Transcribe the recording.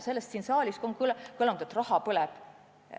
Siin saalis on kõlanud, et raha põleb.